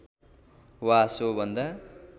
वा सो भन्दा